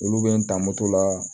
Olu bɛ n ta moto la